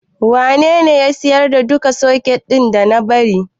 Wanene ya siyar da duka soket ɗin da na bari?